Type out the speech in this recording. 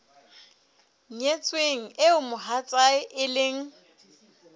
nyetsweng eo mohatsae e leng